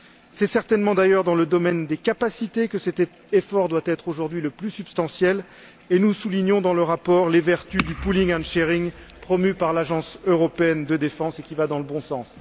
C'est certainement d'ailleurs dans le domaine des capacités que cet effort doit être aujourd'hui le plus substantiel et nous soulignons dans le rapport les vertus du pooling and sharing promues par l'Agence européenne de défense, ce qui va dans le bon sens.